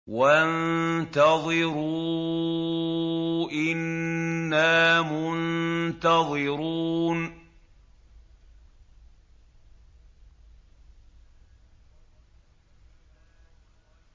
وَانتَظِرُوا إِنَّا مُنتَظِرُونَ